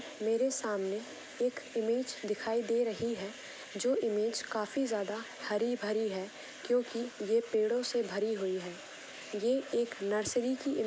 मेरे सामने एक इमेज दिखाई दे रही है जो इमेज काफी ज्यादा हरी भरी है क्यों की ये पेड़ो से भरी हुए है ये एक नर्सरी की--